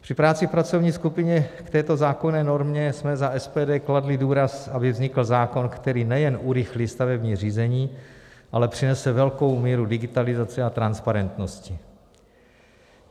Při práci v pracovní skupině k této zákonné normě jsme za SPD kladli důraz, aby vznikl zákon, který nejen urychlí stavební řízení, ale přinese velkou míru digitalizace a transparentnosti.